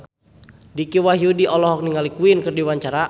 Dicky Wahyudi olohok ningali Queen keur diwawancara